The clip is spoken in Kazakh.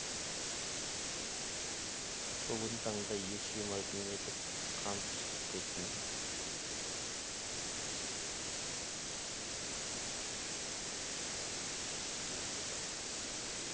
бүгін танда ес жимайтын етіп қан құстырып кетіндер